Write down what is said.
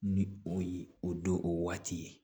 Ni o ye o do o waati ye